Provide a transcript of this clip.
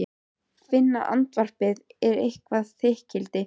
Finna að andvarpið er eitthvert þykkildi.